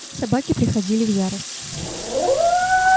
собаки приходили в ярость